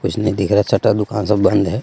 कुछ नहीं दिख रहा है शटर दुकान सब बंद है.